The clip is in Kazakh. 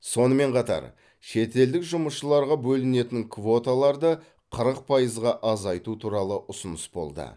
сонымен қатар шетелдік жұмысшыларға бөлінетін квоталарды қырық пайызға азайту туралы ұсыныс болды